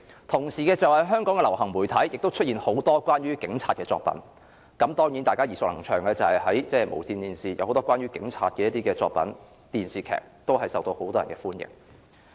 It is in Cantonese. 當時香港的流行媒體亦出現很多關於警察的作品，當中，無綫電視播放很多關於警察的電視劇，均是大家耳熟能詳，受到很多香港市民歡迎。